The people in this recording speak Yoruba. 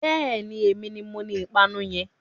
Bẹ́ẹ̀ni, èmi ni moní ìpanu yẹn.